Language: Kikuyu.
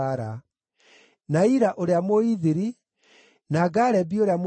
na Ira ũrĩa Mũithiri, na Garebi ũrĩa Mũithiri,